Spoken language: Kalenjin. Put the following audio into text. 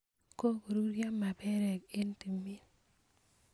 kokoruryo maperek eng tumiin